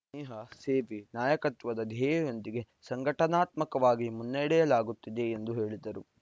ಸ್ನೇಹಸೇವೆನಾಯಕತ್ವದ ಧ್ಯೇಯದೊಂದಿಗೆ ಸಂಘಟನಾತ್ಮಕವಾಗಿ ಮುನ್ನಡೆಯಲಾಗುತ್ತಿದೆ ಎಂದು ಹೇಳಿದರು